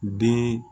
Den